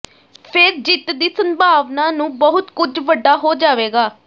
ਫਿਰ ਜਿੱਤ ਦੀ ਸੰਭਾਵਨਾ ਨੂੰ ਬਹੁਤ ਕੁਝ ਵੱਡਾ ਹੋ ਜਾਵੇਗਾ